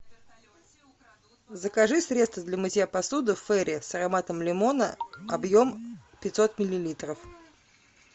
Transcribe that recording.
закажи средство для мытья посуды фейри с ароматом лимона объем пятьсот миллилитров